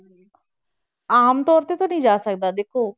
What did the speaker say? ਆਮ ਤੌਰ ਤੇ ਤਾਂ ਨੀ ਜਾ ਸਕਦਾ ਦੇਖੋ।